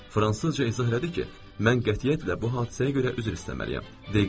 Fransızca izah elədi ki, mən qətiyyətlə bu hadisəyə görə üzr istəməliyəm.